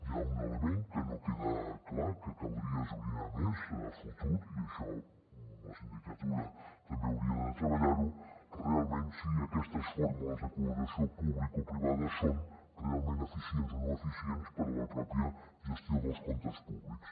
hi ha un element que no queda clar que caldria esbrinar més a futur i això la sindicatura també hauria de treballar ho realment si aquestes fórmules de col·laboració publicoprivada són realment eficients o no eficients per a la pròpia gestió dels comptes públics